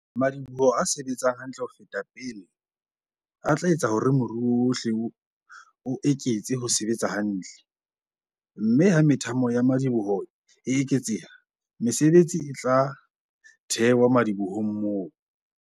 Madiboho a se-betsang hantle ho feta pele a tla etsa hore moruo wohle o eketse ho sebetsa hantle - mme ha methamo ya madi-boho e eketseha, mesebetsi e tla thewa madibohong moo.